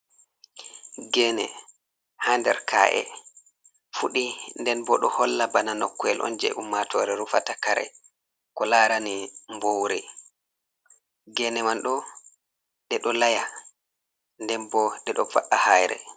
Geene, haa nder ka’e fuɗi, den bo ɗo holla bana nokkuyel on je ummaatore rufata kare ko larani buwuri. Geene man ɗo ɗe ɗo laya, nden bo ɗe ɗo va’a hayre.